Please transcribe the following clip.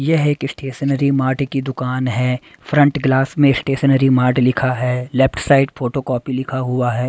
यह एक stationery mart की दुकान है फ्रंट ग्लास में स्टेशनरी मार्ट लिखा है लेफ्ट साइड फोटोकॉपी लिखा हुआ है।